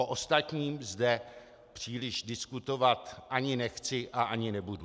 O ostatním zde příliš diskutovat ani nechci a ani nebudu.